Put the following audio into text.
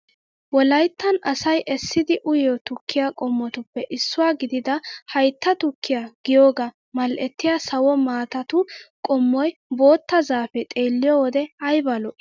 Wolayittan aaasayi essidi uyiyoo tukkiyaa qommotuppe issuwaa gidida hayitta tukkiyaa giyoogaa mal'ettiyaa sawo maatatu qommoyi bootta zaapee xeelliyoo wode ayiba lo''ii!